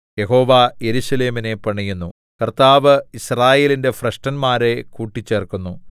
യഹോവ യെരൂശലേമിനെ പണിയുന്നു കർത്താവ് യിസ്രായേലിന്റെ ഭ്രഷ്ടന്മാരെ കൂട്ടിച്ചേർക്കുന്നു